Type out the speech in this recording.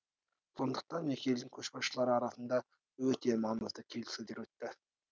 сондықтан екі елдің көшбасшылары арасында өте маңызды келіссөздер өтті